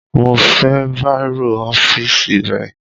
Mo fẹ́ bàírò ọ́fíìsì rẹ